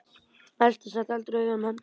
Elsa sat aldrei auðum höndum.